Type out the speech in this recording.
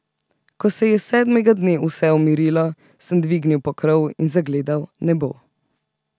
Ko se je sedmega dne vse umirilo, sem dvignil pokrov in zagledal nebo.